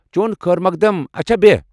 چون خٲر مۄقدم ، اچھا بیہہ ۔